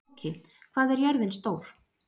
Tóki, hvað er jörðin stór?